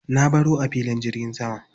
Na baro a filin jirgin sama.